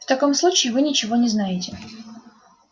в таком случае вы ничего не знаете